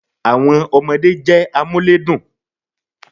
Àwon ọmọdé jé amúlédùn